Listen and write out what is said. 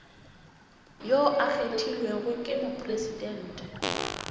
yo a kgethilwego ke mopresidente